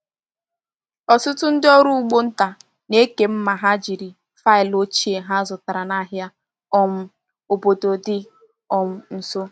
Ọtụtụ ndị ọrụ ugbo nta na-eke mma ha jiri faịlụ ochie ha zụtara n’ahịa um obodo dị um nso.